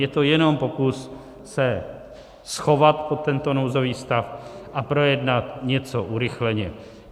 Je to jenom pokus se schovat pod tento nouzový stav a projednat něco urychleně.